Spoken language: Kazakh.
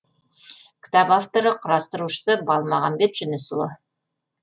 кітап авторы құрастырушысы балмағамбет жүнісұлы